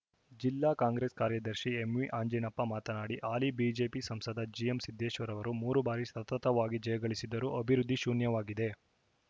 ಜಿಲ್ಲಾ ಕಾಂಗ್ರೆಸ್‌ ಕಾರ್ಯದರ್ಶಿ ಎಂವಿಅಂಜಿನಪ್ಪ ಮಾತನಾಡಿ ಹಾಲಿ ಬಿಜೆಪಿ ಸಂಸದ ಜಿಎಂಸಿದ್ದೇಶ್ವರ ಅವರು ಮೂರು ಬಾರಿ ಸತತವಾಗಿ ಜಯಗಳಿಸಿದ್ದರೂ ಅಭಿವೃದ್ಧಿ ಶೂನ್ಯವಾಗಿದೆ